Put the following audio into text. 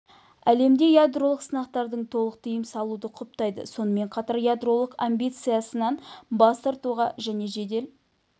әлемде ядролық сынақтардың толық тыйым салуды құптайды сонымен қатар ядролық амбициясынан бас тартуға және жедел